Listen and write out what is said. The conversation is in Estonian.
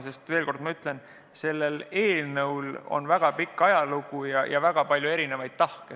Ma veel kord ütlen, et sellel eelnõul on väga pikk ajalugu ja väga palju erinevaid tahke.